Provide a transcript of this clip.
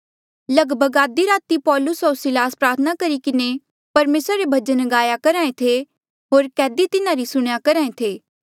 लगभग आधी राती पौलुस होर सिलास प्रार्थना करी किन्हें परमेसरा रे भजन गाया करहा ऐें थे होर कैदी तिन्हारी सुणेया करहा ऐें थे